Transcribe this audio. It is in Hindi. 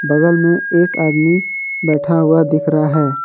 बगल में एक आदमी बैठा हुआ दिख रहा है।